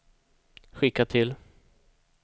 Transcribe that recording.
skicka till